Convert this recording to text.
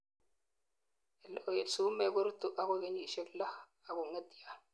eleo en sumek korutu agoi kenyisiek loo akongetio